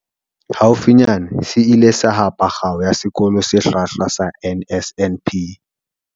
Haufinyane se ile sa hapa Kgao ya Sekolo se Hlwahlwa sa NSNP.